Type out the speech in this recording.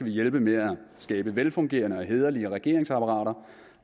hjælpe med at skabe velfungerende og hæderlige regeringsapparater